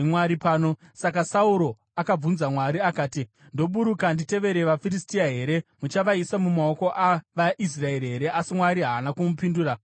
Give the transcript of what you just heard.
Saka Sauro akabvunza Mwari akati, “Ndoburuka nditevere vaFiristia here? Muchavaisa mumaoko avaIsraeri here?” Asi Mwari haana kumupindura musi iwoyo.